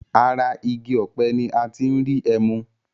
Ara igi ọ̀pẹ ni a ti ń rí ẹmu.